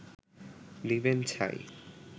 নিবেন ছাই